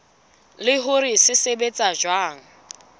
le hore se sebetsa jwang